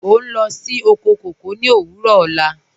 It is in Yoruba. Ọ n lọ sí oko kọkọ ni owurọ ọ̀la.